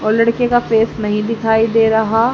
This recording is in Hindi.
और लड़के का फेस नहीं दिखाई दे रहा--